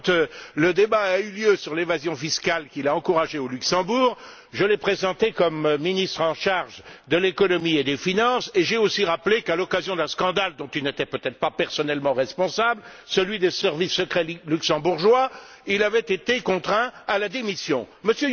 Lors du débat sur l'évasion fiscale qu'il a encouragée au Luxembourg, je l'ai présenté comme ministre chargé de l'économie et des finances et j'ai aussi rappelé qu'à l'occasion d'un scandale dont il n'était peut être pas personnellement responsable, celui des services secrets luxembourgeois, il avait été contraint à la démission. M.